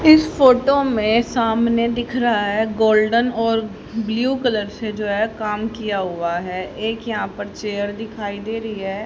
इस फोटो में सामने दिख रहा है गोल्डन और ब्लू कलर से जो है काम किया हुआ है एक यहां पर चेयर दिखाई दे रही है।